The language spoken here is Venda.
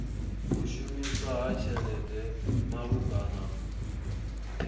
u shumiswa ha tshelede malugana